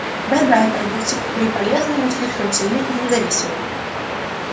да да торговцы которые полезны но слишком сильны и независимы